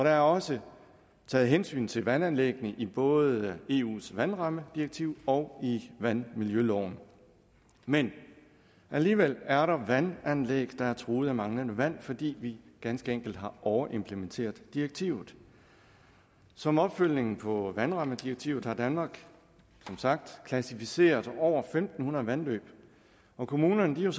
er også taget hensyn til vandanlæggene i både eus vandrammedirektiv og i vandmiljøloven men alligevel er der vandanlæg der er truet af manglende vand fordi vi ganske enkelt har overimplementeret direktivet som opfølgning på vandrammedirektivet har danmark som sagt klassificeret over fem hundrede vandløb og kommunerne